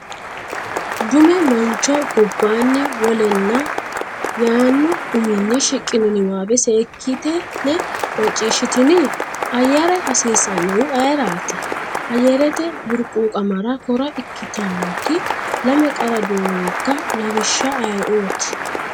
dume mancho goobani Wolena? yaanno uminni shiqqino niwaawe seekkitine macciishshitini? Ayyare hassiissannohu ayeeraati? Ayyarete burquuqamara kora ikkitannoti lame qarra doogga Lawishsha ayeeooti?